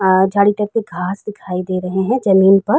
आ घांस दिखाई दे रहे हैं जमीन पर।